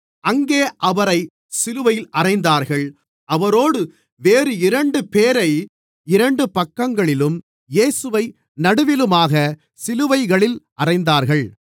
அங்கே அவரை சிலுவையில் அறைந்தார்கள் அவரோடு வேறு இரண்டுபேரை இரண்டு பக்கங்களிலும் இயேசுவை நடுவிலுமாகச் சிலுவைகளில் அறைந்தார்கள்